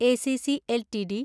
ACC LTD